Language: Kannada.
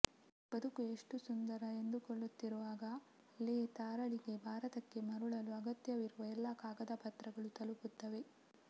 ಬದುಕು ಎಷ್ಟು ಸುಂದರ ಎಂದುಕೊಳ್ಳುತ್ತಿರುವಾಗಲೇ ತಾರಾಳಿಗೆ ಭಾರತಕ್ಕೆ ಮರಳಲು ಅಗತ್ಯವಿರುವ ಎಲ್ಲ ಕಾಗದಪತ್ರಗಳು ತಲುಪುತ್ತವೆ